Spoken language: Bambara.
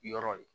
Yɔrɔ ye